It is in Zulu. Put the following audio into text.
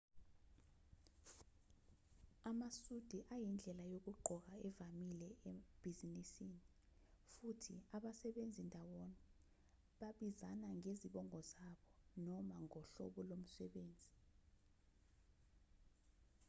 amasudi ayindlela yokugqoka evamile ebhizinisini futhi abasebenza ndawonye babizana ngezibongo zabo noma ngohlobo lomsebenzi